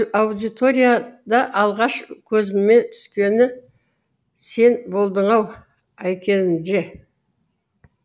аудиторияда алғаш көзіме түскені сен болдың ау айкенже